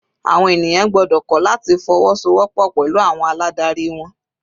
Àwọn ènìyàn gbọ́dọ̀ kọ́ láti fọwọ́so wọ́pọ̀ pẹ̀lú àwọn aládarí wọn.